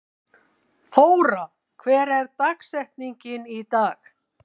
Þóra, hver er dagsetningin í dag?